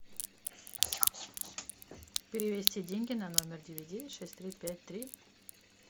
перевести деньги на номер девять девять шесть три пять три